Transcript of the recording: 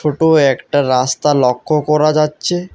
ছোট একটা রাস্তা লক্ষ করা যাচ্ছে।